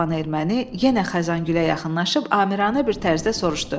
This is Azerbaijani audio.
Cavan erməni yenə Xəzəngülə yaxınlaşıb amiranə bir tərzdə soruşdu: